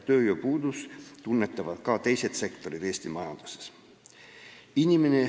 Tööjõupuudust tunnetavad ka teised sektorid Eesti majanduses.